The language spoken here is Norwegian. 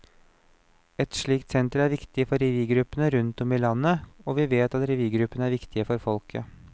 Et slikt senter er viktig for revygruppene rundt om i landet, og vi vet at revygruppene er viktige for folket.